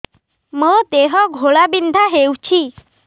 ମୋ ଦେହ ଘୋଳାବିନ୍ଧା ହେଉଛି